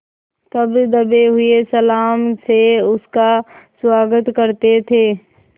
तब दबे हुए सलाम से उसका स्वागत करते थे